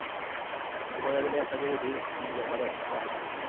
Hon började läsa juridik och jobbade extra.